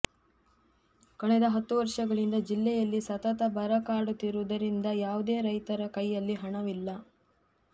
ಕಳೆದ ಹತ್ತು ವರ್ಷಗಳಿಂದ ಜಿಲ್ಲೆಯಲ್ಲಿ ಸತತ ಬರ ಕಾಡುತ್ತಿರುವುದರಿಂದ ಯಾವುದೇ ರೈತರ ಕೈಯಲ್ಲಿ ಹಣವಿಲ್ಲ